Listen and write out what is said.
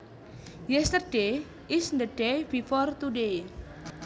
Yesterday is the day before today